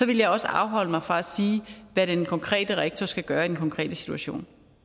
vil jeg også afholde mig fra at sige hvad den konkrete rektor skal gøre i den konkrete situation